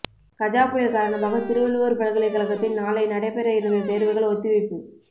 கஜா புயல் காரணமாக திருவள்ளுவர் பல்கலைக்கழகத்தில் நாளை நடைபெற இருந்த தேர்வுகள் ஒத்திவைப்பு